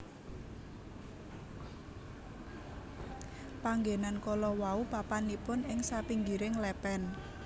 Panggénan kalawau papanipun ing sapinggiring lèpèn